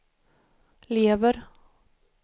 lever